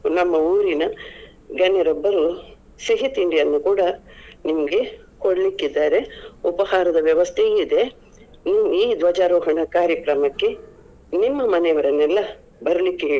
ನಮ್ಮ ಊರಿನ ಗಣ್ಯರೊಬ್ಬರು ಸಿಹಿ ತಿಂಡಿಯನ್ನು ಕೂಡ ನಿಮ್ಮ್ಗೆ ಕೊಡ್ಲಿಕ್ಕಿದ್ದಾರೆ ಉಪಹಾರದ ವ್ಯವಸ್ಥೆಯು ಇದೆ. ಈ ಧ್ವಜಾರೋಹಣ ಕಾರ್ಯಕ್ರಮಕ್ಕೆ ನಿಮ್ಮ ಮನೆ ಅವರನ್ನೆಲ್ಲ ಬರಲಿಕ್ಕೆ ಹೇಳಿ.